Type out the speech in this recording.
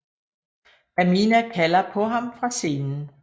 Pamina kalder på ham fra scenen